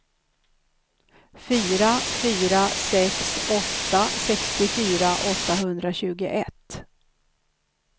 fyra fyra sex åtta sextiofyra åttahundratjugoett